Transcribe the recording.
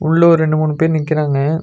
உள்ள ஒரு ரெண்டு மூணு பேர் நிக்கிறாங்க.